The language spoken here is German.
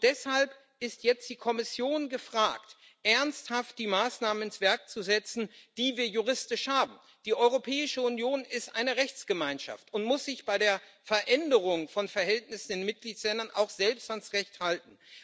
Deshalb ist jetzt die Kommission gefragt, ernsthaft die Maßnahmen ins Werk zu setzen, die wir juristisch haben Die Europäische Union ist eine Rechtsgemeinschaft und muss sich bei der Veränderung von Verhältnissen in Mitgliedstaaten auch selbst ans Recht halten.